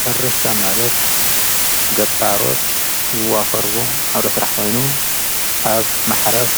ሕርሻ ማለት ገባሮት ዝዋፈርዎ ኣብ ለሥራሕ ዋይኑ ኣብ ማሓረስ